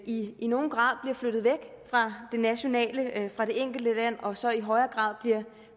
i i nogen grad bliver flyttet væk fra det nationale fra det enkelte land og så i højere grad